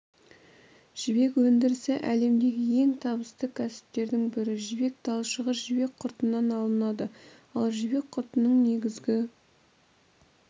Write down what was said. жібек өндірісі әлемдегі ең табысты кәсіптердің бірі жібек талшығы жібек құртынан алынады ал жібек құртының негізгі